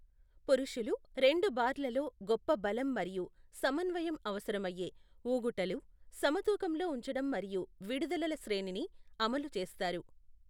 పురుషులు రెండు బార్లలో గొప్ప బలం మరియు సమన్వయం అవసరమయ్యే, ఊగుటలు, సమతూకంలో ఉంచడం మరియు విడుదలల శ్రేణిని అమలు చేస్తారు.